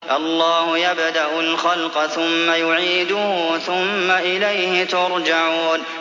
اللَّهُ يَبْدَأُ الْخَلْقَ ثُمَّ يُعِيدُهُ ثُمَّ إِلَيْهِ تُرْجَعُونَ